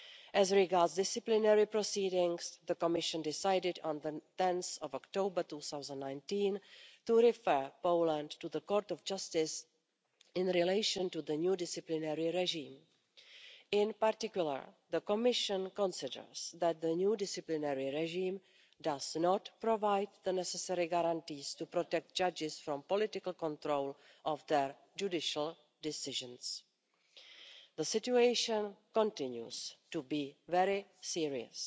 As regards disciplinary proceedings, the Commission decided on 10 October 2019 to refer Poland to the Court of Justice in relation to the new disciplinary regime. In particular, the Commission considered that the new disciplinary regime did not provide the necessary guarantees to protect judges from political control of their judicial decisions. The situation continues to be very serious.